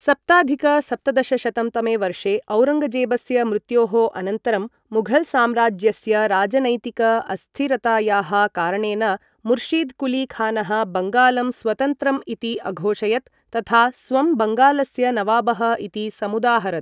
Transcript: सप्ताधिक सप्तदशशतं तमे वर्षे औरङ्गजेबस्य मृत्योः अनन्तरं, मुघल् साम्राज्यस्य राजनैतिक अस्थिरतायाः कारणेन, मुर्शिद् कुली खानः बङ्गालं स्वतन्त्रम् इति अघोषयत् तथा स्वं बङ्गालस्य नवाबः इति समुदाहरत्।